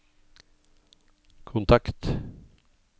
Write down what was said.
kontakt